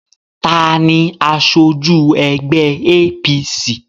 Taani aṣojú ẹgbẹ́ APC?